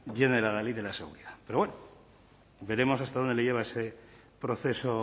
y en el adalid de la seguridad pero bueno veremos hasta dónde les lleva ese proceso